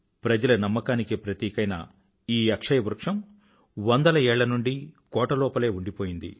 ప్రజల నమ్మకానికి ప్రతీకైన ఈ అక్షయ వృక్షం వందల ఏళ్ల నుండీ కోటలోపలే ఉండిపోయింది